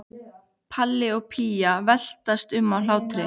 Palli og Pína veltast um af hlátri.